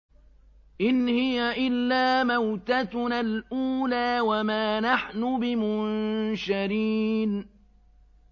إِنْ هِيَ إِلَّا مَوْتَتُنَا الْأُولَىٰ وَمَا نَحْنُ بِمُنشَرِينَ